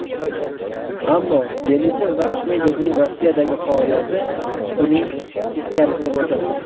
Ammo Denisov va Ahmedovning Rossiyadagi faoliyati buning teskarisini ko‘rsatdi.